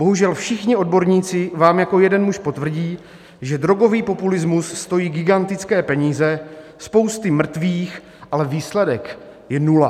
Bohužel všichni odborníci vám jako jeden muž potvrdí, že drogový populismus stojí gigantické peníze, spousty mrtvých, ale výsledek je nula.